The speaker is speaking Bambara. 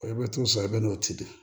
I bɛ to sa i bɛ nɔnɔ ci de